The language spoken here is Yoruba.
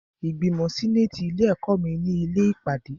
Ìgbìmọ̀ sẹ́nàtì ilé ẹ̀kọ́ mi ni ilé ìpàdé.